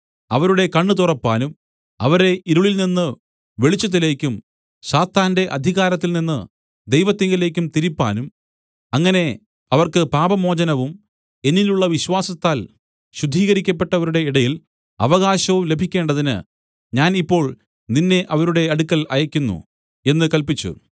അവരുടെ കണ്ണ് തുറപ്പാനും അവരെ ഇരുളിൽനിന്ന് വെളിച്ചത്തിലേക്കും സാത്താന്റെ അധികാരത്തിൽനിന്ന് ദൈവത്തിങ്കലേക്കും തിരിപ്പാനും അങ്ങനെ അവർക്ക് പാപമോചനവും എന്നിലുള്ള വിശ്വാസത്താൽ ശുദ്ധീകരിക്കപ്പെട്ടവരുടെ ഇടയിൽ അവകാശവും ലഭിക്കേണ്ടതിന് ഞാൻ ഇപ്പോൾ നിന്നെ അവരുടെ അടുക്കൽ അയയ്ക്കുന്നു എന്നു കല്പിച്ചു